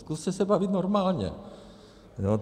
Zkuste se bavit normálně.